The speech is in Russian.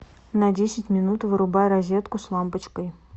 на десять минут вырубай розетку с лампочкой